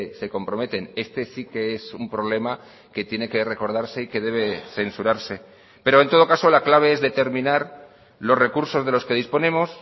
se comprometen este sí que es un problema que tiene que recordarse y que debe censurarse pero en todo caso la clave es determinar los recursos de los que disponemos